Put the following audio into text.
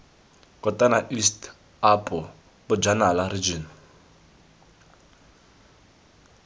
kotane east apo bojanala region